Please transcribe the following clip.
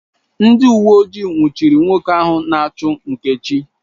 Ndị uwe ojii nwụchiri nwoke ahụ na-achụ Nkechi